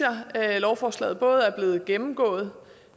at lovforslaget er blevet glimrende gennemgået